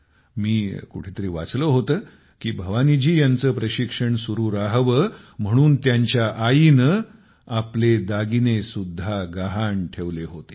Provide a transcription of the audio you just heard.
मी कुठेतरी वाचले होते की भवानीजी यांचे प्रशिक्षण चालू राहावे म्हणून त्यांच्या आईने आपले दागिने सुद्धा गहाण ठेवले होते